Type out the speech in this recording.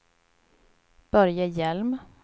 Börje Hjelm